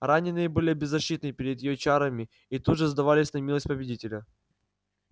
раненые были беззащитны перед её чарами и тут же сдавались на милость победителя